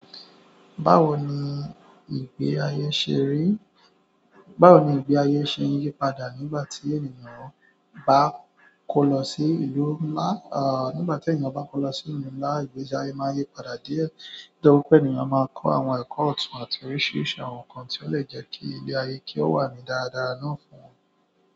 Báwo ni ìgbé ayé ṣe ń yípadà nígbà tí ènìyàn bá kó lọ sí ìlú ńlá? Nígbà tí ènìyàn bá kó lọ sí ìlú ńlá, ìgbésí ayé máa ń yípadà díẹ̀. Nítorí pé ènìyàn máa ń kó àwọn ẹ̀kọ́ ọ̀tún àti oríṣiríṣi àwọn nǹkan tí ó lè jẹ́ kí ilé ayé kí ó wà ní dáradára náà.